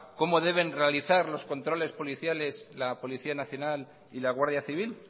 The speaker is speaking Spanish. cómo deben realizar los controles policiales la policía nacional y la guardia civil